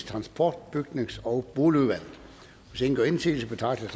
transport bygnings og boligudvalget hvis ingen gør indsigelse betragter